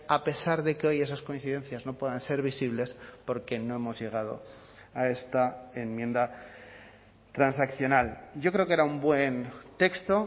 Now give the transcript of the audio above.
a pesar de que hoy esas coincidencias no puedan ser visibles porque no hemos llegado a esta enmienda transaccional yo creo que era un buen texto